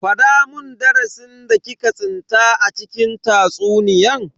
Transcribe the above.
Fada mun darasin da ki ka tsinta a cikin tatsuniyan.